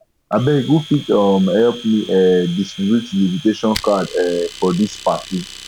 abeg who fit um help me um distribute di invitation card um for dis party